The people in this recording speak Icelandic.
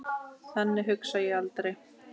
Þannig hugsa ég aldrei.